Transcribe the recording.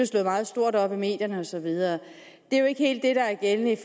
slået meget stort op i medierne og så videre det er jo ikke helt det der er gældende i